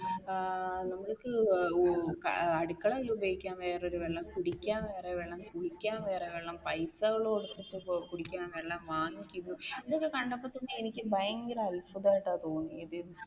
ഏർ നമുക്ക് അടുക്കളയിൽ ഉപയോഗിക്കാൻ വേറെയൊരു വെള്ളം, കുടിക്കാൻ വേറെ വെള്ളം, കുളിക്കാൻ വേറെ വെള്ളം പൈസകൾ കൊടുത്തു കുടിക്കുന്ന വെള്ളം വാങ്ങിക്കുന്നു ഇതൊക്കെ കണ്ടപ്പോൾ തന്നെ എനിക്ക് ഭയങ്കര അത്ഭുതമായിട്ടാണ് തോന്നിയത്.